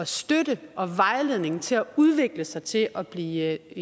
støtte og vejledning til at udvikle sig til at blive